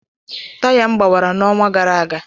Taya m gbawara n'ọnwa gara aga